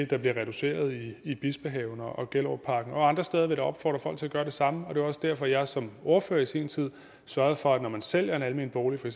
der bliver reduceret i i bispehaven og gellerupparken og andre steder vil jeg da opfordre folk til at gøre det samme det var også derfor jeg som ordfører i sin tid sørgede for at man når man sælger en almen bolig for